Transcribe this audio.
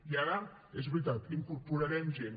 i ara és veritat incorporarem gent